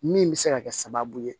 Min bɛ se ka kɛ sababu ye